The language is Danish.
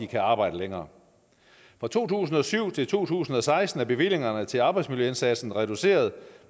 kan arbejde længere fra to tusind og syv til to tusind og seksten er bevillingerne til arbejdsmiljøindsatsen reduceret